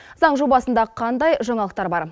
заң жобасында қандай жаңалықтар бар